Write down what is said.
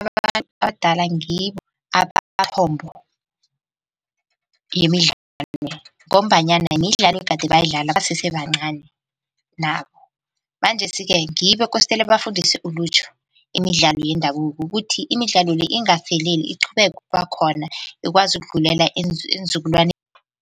Abantu abadala ngibo abamithombo yemidlalo le ngombanyana midlalo egade bayidlala basese bancani nabo. Manjesi-ke ngibo ekostele bafundise ilutjha imidlalo yendabuko ukuthi imidlalo le ingafeleli iqhubeke ukuba khona ikwazi ukudlulela eenzukulwaneni.